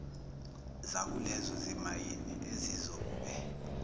zakulezo zimayini ezizokube